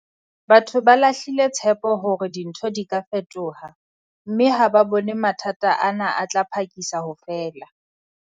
Batho ba lahlile tshepo hore dintho di ka fetoha, mme ha ba bone mathata ana a tla phakisa ho fela.